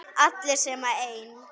Allir sem einn.